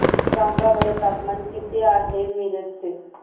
सांगा बरं तापमान किती आहे मिरज चे